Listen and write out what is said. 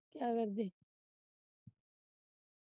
ਕਿਆ ਕਰਦੇ